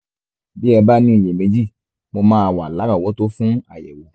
bí ẹ bá ní iyèméjì mo máa wà lárọ̀ọ́wọ́tó fún àyẹ̀wò